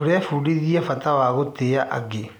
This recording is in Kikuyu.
Tũrebundithia bata wa gũtĩa angĩ.